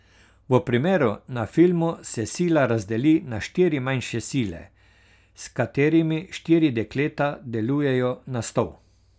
V primeru na filmu se sila razdeli na štiri manjše sile, s katerimi štiri dekleta delujejo na stol.